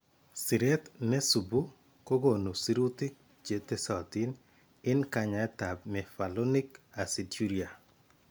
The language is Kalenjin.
Siret ne suubu kokoonu sirutik che tesatin en kanyaayetab mevalonic aciduria.